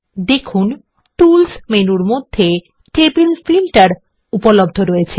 দেখুন টুলস মেনুর মধ্যে টেবিল ফিল্টার উপলব্ধ রয়েছে